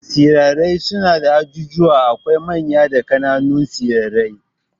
Tsirrai suna da ajujuwa, akwai manya da kananun tsirrai